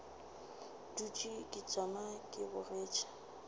dutše ke tšama ke bogetše